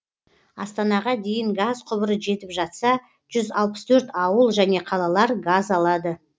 астанаға дейін газ құбыры жетіп жатса жүз алпыс төрт ауыл және қалалар газ алады